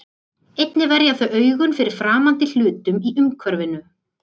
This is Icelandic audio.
Einnig verja þau augun fyrir framandi hlutum í umhverfinu.